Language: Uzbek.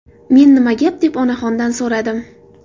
Men nima gap deb onaxondan so‘radim.